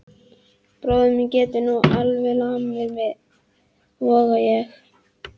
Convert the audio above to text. Bróðir minn getur nú alveg lamið þig, voga ég.